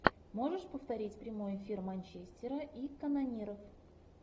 можешь повторить прямой эфир манчестера и канониров